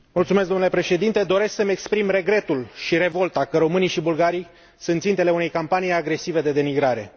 Domnule președinte, doresc să îmi exprim regretul și revolta că românii și bulgarii sunt țintele unei campanii agresive de denigrare.